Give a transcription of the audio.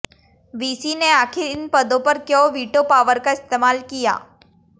VC ने आखिर इन पदों पर क्यों वीटो पावर का इस्तेमाल किया